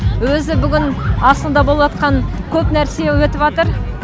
өзі бүгін астанада болып атқан көп нәрсе өтіватыр